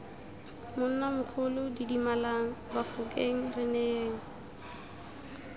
monnamogolo didimalang bafokeng re neyeng